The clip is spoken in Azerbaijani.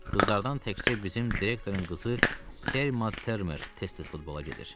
Qızlardan təkcə bizim direktorun qızı Selma Termer tez-tez futbola gedir.